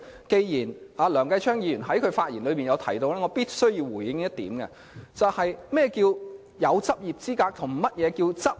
既然梁繼昌議員剛才發言提到這點，我必須回應何謂擁有執業資格及何謂執業。